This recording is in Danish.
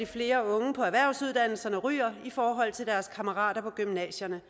flere unge på erhvervsuddannelserne ryger i forhold til deres kammerater på gymnasierne